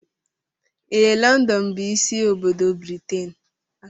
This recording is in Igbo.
Ee London bụ ịsị obodo Britain.